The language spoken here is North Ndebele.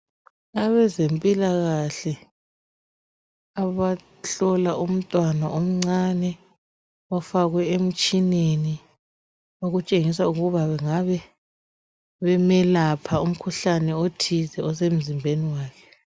Abezempilakahle bahlola umntwana omncane ufakwe emtshineni okutshengisa ukuthi bengabe bemelapha umkhuhlane othize osemzimbeni wakhe